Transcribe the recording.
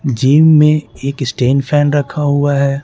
Gym में एक stand fan रखा हुआ है।